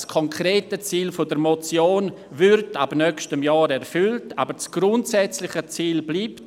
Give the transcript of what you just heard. Das konkrete Ziel der Motion würde ab nächstem Jahr erfüllt, aber das grundsätzliche Ziel bleibt.